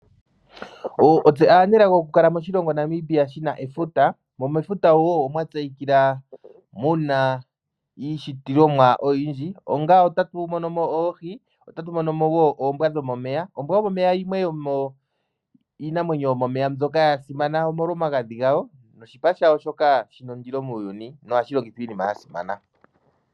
Otse aanelago okukala moshilongo Namibia moka mu na efuta, mo mefuta omwa tseyika wo mu na iishitilomwa oyindji. Otatu adha mo iinamwenyo ngaashi oohi noombwa dhomomeya. Oombwa dhomomeya odha tseyika nawa omolwa omagadhi gadho, noshipa shadho shoka shi na ondilo muuyuni, nohashi longithwa miinima oyindji.